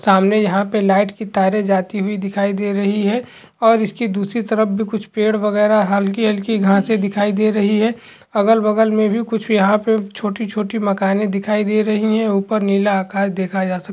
सामने यहां पर लाइट की तारे जाती हुई दिखाई दे रही है और इसकी दूसरी तरफ भी पेड़ वगैरा हल्की-हल्की घासे दिखाई दे रही है अगल-बगल में भी कुछ यहां पे छोटी-छोटी मकाने दिखाई दे रही है ऊपर नीला आकाश देखा जा --